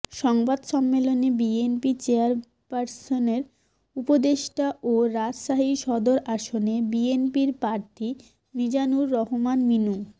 সংবাদ সম্মেলনে বিএনপি চেয়ারপারসনের উপদেষ্টা ও রাজশাহী সদর আসনে বিএনপির প্রার্থী মিজানুর রহমান মিনু